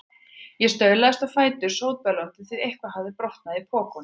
Ég staulaðist á fætur, sótbölvandi, því eitthvað hafði brotnað í pokunum.